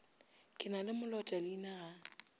ke na le molotaleina ga